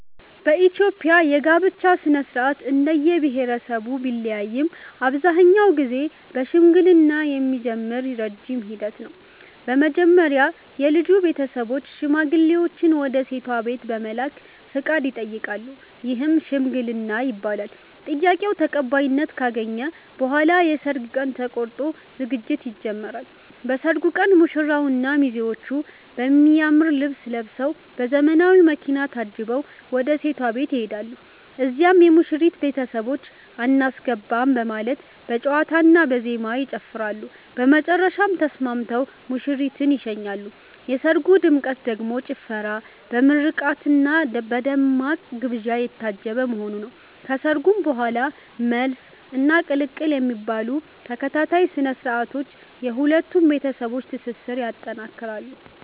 በኢትዮጵያ የጋብቻ ሥነ-ሥርዓት እንደየብሄረሰቡ ቢለያይም አብዛኛውን ጊዜ በሽምግልና የሚጀምር ረጅም ሂደት ነው። መጀመሪያ የልጁ ቤተሰቦች ሽማግሌዎችን ወደ ሴቷ ቤት በመላክ ፈቃድ ይጠይቃሉ፤ ይህም "ሽምግልና" ይባላል። ጥያቄው ተቀባይነት ካገኘ በኋላ የሰርግ ቀን ተቆርጦ ዝግጅት ይጀምራል። በሰርጉ ቀን ሙሽራውና ሚዜዎቹ በሚያምር ልብስ ለብሰዉ፤ በዘመናዊ መኪና ታጅበው ወደ ሴቷ ቤት ይሄዳሉ። እዚያም የሙሽሪት ቤተሰቦች "አናስገባም " በማለት በጨዋታና በዜማ ይጨፍራሉ፤ በመጨረሻም ተስማምተው ሙሽሪትን ይሸኛሉ። የሰርጉ ድምቀት ደግሞ ጭፈራ፣ በምርቃትና በደማቅ ግብዣ የታጀበ መሆኑ ነው። ከሰርጉ በኋላም "መልስ" እና "ቅልቅል" የሚባሉ ተከታታይ ስነ-ስርዓቶች የሁለቱን ቤተሰቦች ትስስር ይጠነክራል።